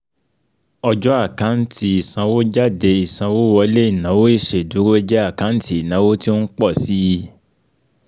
Ọjọ́ Àkáǹtì ìsanwójáde Ìsanwówọlé Ìnáwó ìṣèdúró jẹ́ àkáǹtì ìnáwó tí ó ń pọ̀ síi